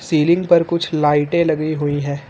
Ceiling पर कुछ लाइटें लगी हुई है।